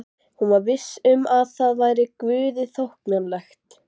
Hún var viss um að það væri Guði þóknanlegt.